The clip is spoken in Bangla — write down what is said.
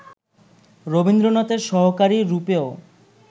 রবীন্দ্রনাথের সহকারী রূপেও